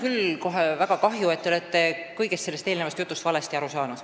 Mul on kohe väga kahju, sest te olete kogu eelnevast jutust valesti aru saanud.